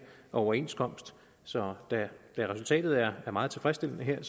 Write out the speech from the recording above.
overenskomst så da resultatet her er meget tilfredsstillende